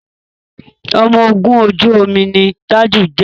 ọmọ ògún ojú omi ní Taju jé.